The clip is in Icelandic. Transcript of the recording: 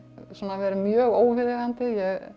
verið mjög óviðeigandi